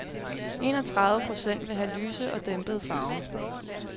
Enogtredive procent vil have lyse og dæmpede farver.